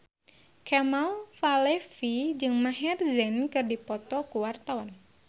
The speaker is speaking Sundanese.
Kemal Palevi jeung Maher Zein keur dipoto ku wartawan